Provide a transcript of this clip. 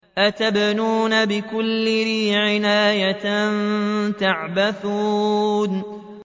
أَتَبْنُونَ بِكُلِّ رِيعٍ آيَةً تَعْبَثُونَ